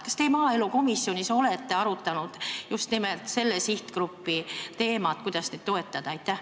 Kas te maaelukomisjonis olete arutanud just nimelt selle sihtgrupi probleeme, seda, kuidas neid toetada?